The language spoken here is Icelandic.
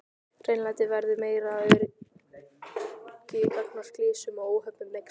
Hreinlæti verður meira og öryggi gagnvart slysum og óhöppum eykst.